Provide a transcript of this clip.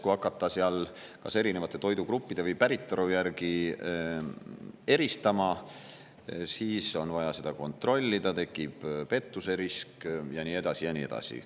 Kui hakata kas erinevate toidugruppide või päritolu järgi eristama, siis on vaja seda kontrollida, tekib pettuse risk ja nii edasi ja nii edasi.